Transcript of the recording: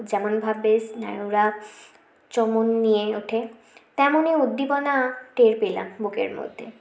যেমন ভাবে স্নায়ুরা চমন নিয়ে ওঠে তেমনই উদ্দীপনা টের পেলাম বুকের মধ্যে